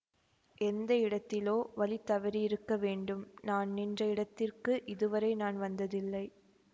எந்த இடத்திலோ வழி தவறியிருக்க வேண்டும் நான் நின்ற இடத்திற்கு இதுவரை நான் வந்ததில்லை